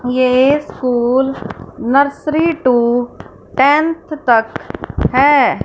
ये school nursery to tenth तक है।